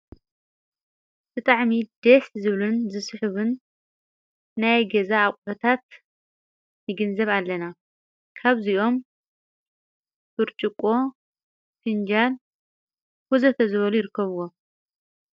ብጣዕሚ ደስ ዝብልን ዝስሑብን ናይ ገዛ ኣቝሑታት ንግንዘብ ኣለና ካብዚኦም ብርጭቆ፣ ፊንጃልን ወዘተ ዝበሉ ይርከብዎ።